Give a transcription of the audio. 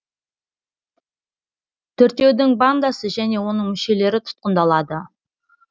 төртеудің бандасы және оның мүшелері тұтқындалады